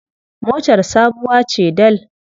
Motar sabuwa ce dal.